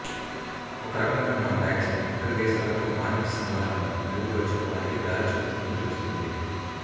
ఒకరకంగా మన వ్యాక్సిన్ ఇతర దేశాలతో వాణిజ్య సంధాలను మెరుగుపరచుకోవడానికి దారి చూపుతుందని తెలుస్తుంది